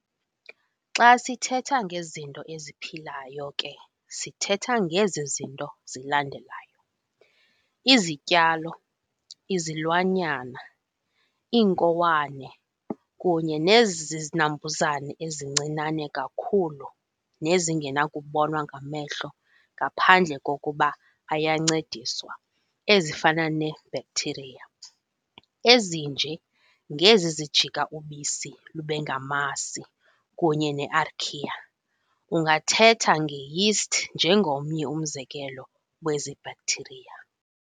Xa sithetha ngezinto eziphilayo ke sithetha ngezi zinto zilandelayo, izityalo, izilwanyana, iinkowane kunye nezi zinambuzane ezincinane kakhulu nezingenakubonwa ngamehlo ngaphandle kokuba ayancediswa ezifana ne"bacteria" ezinje ngezi zijika ubisi lubengamasi kunye ne-archaea ungathetha ngeyeast njengomnye umzekelo wezi"bacteria".